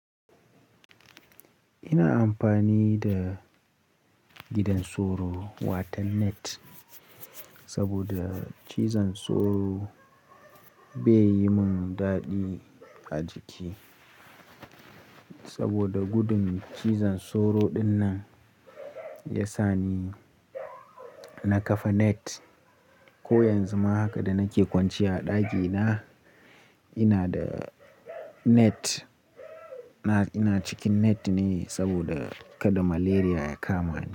Ina amfani da gidan sauro waton net saboda cizon sauro bai yi mun daɗi a jiki. Saboda gudun cizon sauro din nan ya sa ni na kafa net. Ko yanzu ma haka da nake kwanciya a ɗakina ina da net. Ina cikin net ne saboda kada malaria ya kama ni.